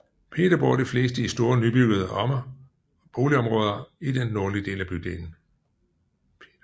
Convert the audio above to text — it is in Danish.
Peter bor de fleste i store nybyggede boligområder i den nordlige del af bydelen